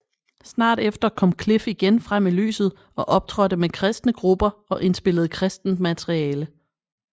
Snart efter kom Cliff igen frem i lyset og optrådte med kristne grupper og indspillede kristent materiale